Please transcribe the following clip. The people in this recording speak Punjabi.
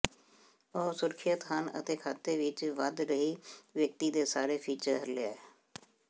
ਉਹ ਸੁਰੱਖਿਅਤ ਹਨ ਅਤੇ ਖਾਤੇ ਵਿੱਚ ਵਧ ਰਹੀ ਵਿਅਕਤੀ ਦੇ ਸਾਰੇ ਫੀਚਰ ਲੈ